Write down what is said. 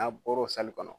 N'a bɔr'o kɔnɔ